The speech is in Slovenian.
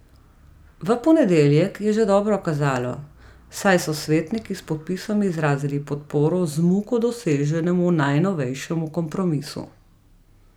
V ponedeljek je že dobro kazalo, saj so svetniki s podpisom izrazili podporo z muko doseženemu najnovejšemu kompromisu.